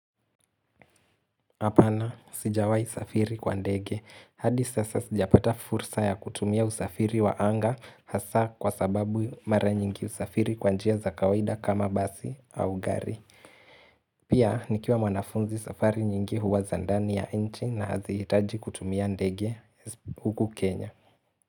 Apana sijawahi safiri kwa ndege. Hadi sasa sijapata fursa ya kutumia usafiri wa anga hasa kwa sababu mara nyingi usafiri kwa njia za kawaida kama basi au gari. Pia nikiwa mwanafunzi safari nyingi huwa za ndani ya nchi na hazihtaji kutumia ndege huku Kenya.